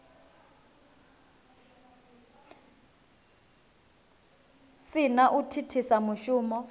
si na u thithisa mushumo